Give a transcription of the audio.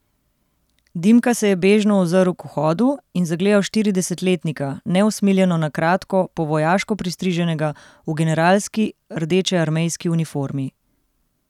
Dimka se je bežno ozrl k vhodu in zagledal štiridesetletnika, neusmiljeno na kratko, po vojaško pristriženega, v generalski rdečearmejski uniformi.